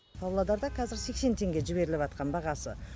павлодарда қазір сексен теңге жіберіліватқан бағасы